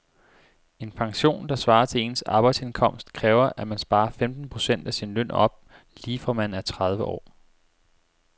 En pension, der svarer til ens arbejdsindkomst, kræver at man sparer femten procent af sin løn op lige fra man er tredive år.